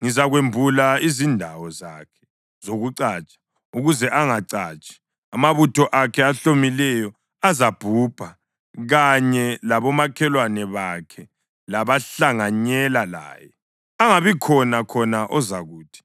ngizakwembula izindawo zakhe zokucatsha, ukuze angacatshi. Amabutho akhe ahlomileyo azabhubha kanye labomakhelwane bakhe labahlanganyela laye, angabikhona khona ozakuthi,